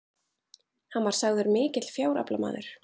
hann var sagður mikill fjáraflamaður